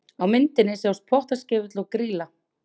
Á myndinni sjást Pottaskefill og Grýla.